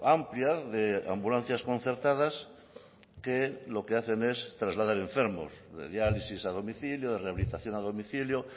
amplia de ambulancias concertadas que lo que hacen es trasladar enfermos de diálisis a domicilio de rehabilitación a domicilio